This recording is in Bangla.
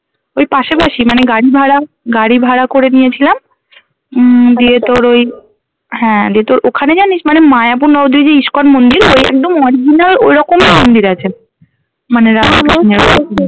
ওই পাশাপাশি মানে গাড়ি ভাড়া গাড়ি ভাড়া করে নিয়েছিলাম উম ওই হ্যাঁ দিয়ে তোর ওখানে জানিস মানে মায়াপুর নবদ্বীপে যে iscon মন্দির ওই একদম original ঐরকমই মন্দির আছে মানে